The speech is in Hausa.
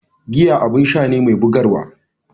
Giya abun sha ne mai bugarwa.